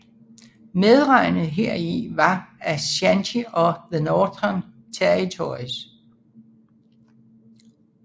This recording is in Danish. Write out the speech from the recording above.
Medregnet heri var Aschanti og The Northern Territories